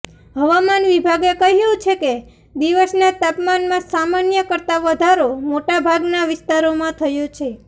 હવામાન વિભાગે કહ્યુ છે કે દિવસના તાપમાનમાં સામાન્ય કરતા વધારો મોટા ભાગના વિસ્તારોમાં થયો છે